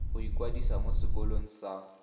go ikwadisa mo sekolong sa